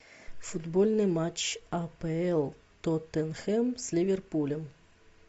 футбольный матч апл тоттенхэм с ливерпулем